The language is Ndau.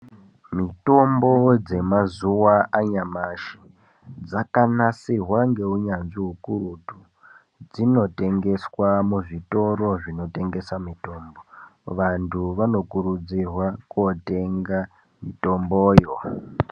Mutombo dzemazuwa anyamashi dzakanasirwa ngeunyanzvi ukurutu dzinotengeswa muzvitoro zvinotengesa mitombo. Vantu vanokurudzirwa kootenga mitombo yo.